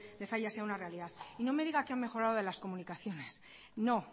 de zalla sea una realidad no me diga que han mejorado las comunicaciones no